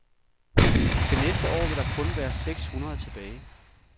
Til næste år vil der kun være seks hundrede tilbage.